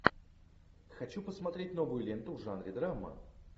хочу посмотреть новую ленту в жанре драма